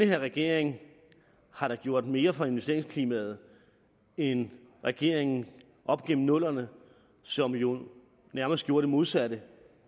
her regering da har gjort mere for investeringsklimaet end regeringen op igennem nullerne som jo nærmest gjorde det modsatte